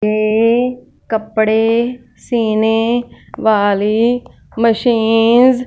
के कपड़े सीने वाली मशीन --